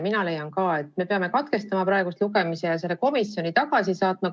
Mina leian ka, et me peame praegu lugemise katkestama ja eelnõu komisjoni tagasi saatma.